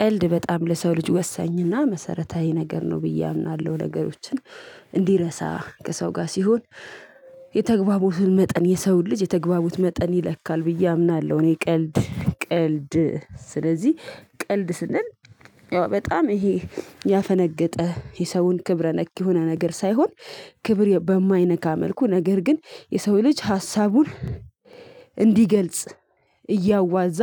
ቀልድ በጣም ለሰው ልጅ ወሳኝና መሰረታዊ ነገር ነው ብዬ አምናለሁ። ነገሮችን እንዲረሳ ከሰው ጋር ሲሆን የተግባቦትን መጠን የሰውን ልጅ የተግባቦት መጠን ይለካል ብዬ አምናለሁ። እኔ ቀልድ ቀልድ ስለዚህ ቀልድ ስንል በጣም ይሄ ያፈነገጠ የሰውን ክብረ ነክ የሆነ ነገር ሳይሆን። ክብር በማይነካ መልኩ ነገር ግን የሰው ልጅ ሀሳቡን እንዲገልጽ እያዋዛ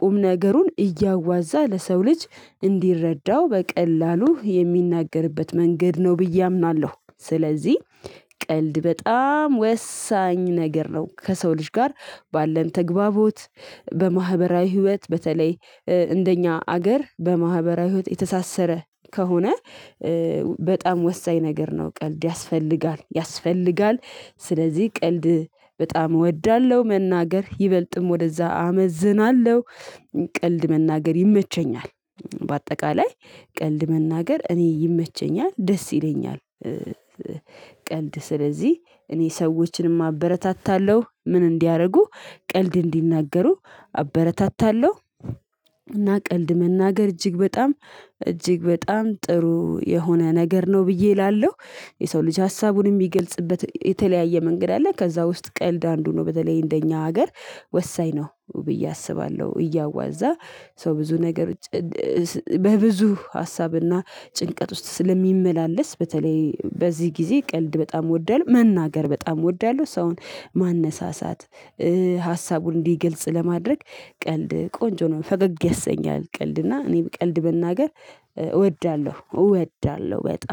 ቁም ነገሩን እያዋዛ ለሰው ልጅ እንዲረዳው በቀላሉ የሚናገርበት መንገድ ነው ብዬ አምናለሁ። ስለዚህ ቀልድ በጣም ወሳኝ ነገር ነው። ከሰው ልጅ ጋር ባለን ተግባቦት በማህበራዊ ህይወት በተለይ እንደኛ ሀገር በማህበራዊ ህይወት የተሳሰረ ከሆነ በጣም ወሳኝ ነገር ነው። ቀልድ ያስፈልጋል ያስፈልጋል ስለዚህ ቀልድ በጣም እወዳለሁ መናገር ይበልጥም ወደዛ አመዝናለሁ። ቀልድ መናገር ይመቸኛል በአጠቃላይ ቀልድ መናገር እኔ ይመቸኛል ደስ ይለኛል። ቀልድ ስለዚህ እኔ ሰዎችንም አበረታታለሁ ምን እንዲያደርጉ ቀልድ እንዲናገሩ አበረታታለሁ። እና ቀልድ መናገር እጅግ በጣም እጅግ በጣም ጥሩ የሆነ ነገር ነው ብዬ እላለሁ። የሰው ልጅ ሀሳቡን የሚገልጽበት የተለያየ መንገድ አለ ከዛ ውስጥ ቀልድ አንዱ ነው። በተለይ እንደኛ ሀገር ወሳኝ ነው ብዬ አስባለሁ። እያዋዛ ሰው ብዙ ነገሮ በብዙ ሀሳብና ጭንቀት ውስጥ ስለሚመላለስ። በተለይ በዚህ ጊዜ ቀልድ በጣም እወዳለሁ መናገር በጣም እወዳለሁ ሰውን ማነሳሳት ሀሳቡን እንዲገልጽ ለማድረግ ቀልድ ቆንጆ ነው። ፈገግ ያሰኛል ቀልድ እና እኔ ቀልድ መናገር እወዳለሁ እወዳለሁ በጣም